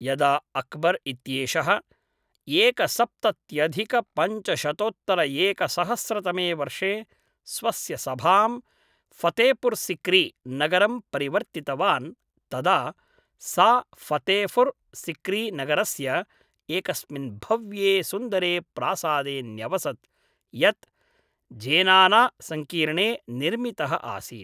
यदा अक्बर् इत्येषः एकसप्तत्यधिकपञ्चशतोत्तरएकसहस्रतमे वर्षे स्वस्य सभां फ़तेह्पुर् सिक्री नगरं परिवर्तितवान् तदा सा फ़तेह्पुर् सिक्री नगरस्य एकस्मिन् भव्ये सुन्दरे प्रासादे न्यवसत्, यत् ज़ेनानासङ्कीर्णे निर्मितः आसीत्।